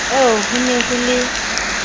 oo ho ne ho le